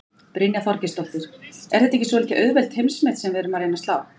Brynja Þorgeirsdóttir: Er þetta ekki svolítið auðveld heimsmet sem við erum að reyna að slá?